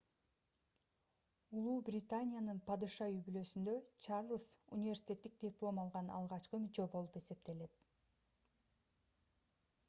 убнын падыша үй-бүлөсүндө чарльз университеттик диплом алган алгачкы мүчө болуп эсептелет